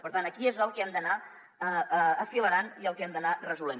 per tant aquí és el que hem d’anar afilerant i el que hem d’anar resolent